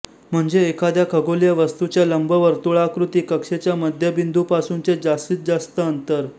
म्हणजे एखाद्या खगोलिय वस्तूच्या लंबवर्तुळाकृती कक्षेच्या मध्यबिंदूपासूनचे जास्तीत जास्त अंतर